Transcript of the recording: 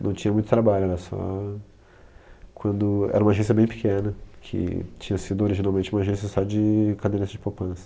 Não tinha muito trabalho, era só... Quando, era uma agência bem pequena, que tinha sido originalmente uma agência só de caderneta de poupança.